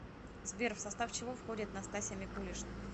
сбер в состав чего входит настасья микулишна